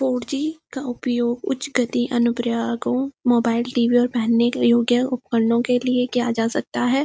Four G का उपयोग उच्च गति अनुप्रयागो मोबाइल टी.वी और दैनिक योग्य उपकरणों के लिए किया जा सकता है।